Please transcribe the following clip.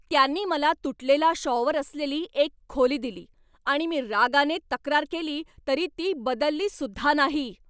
त्यांनी मला तुटलेला शॉवर असलेली एक खोली दिली आणि मी रागाने तक्रार केली तरी ती बदललीसुद्धा नाही.